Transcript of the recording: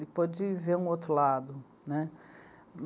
Ele pôde ver um outro lado, né.